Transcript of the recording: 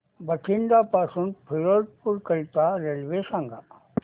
बठिंडा पासून फिरोजपुर करीता रेल्वे सांगा